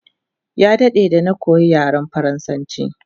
Ya dade da na koya yaren faransanchi